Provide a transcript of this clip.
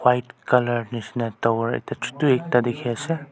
white colour nishina tower ekta chutu dikhi ase.